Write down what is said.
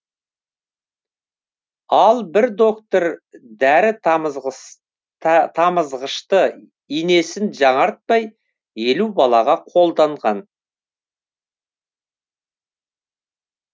ал бір доктор дәрі тамызғышты инесін жаңартпай елу балаға қолданған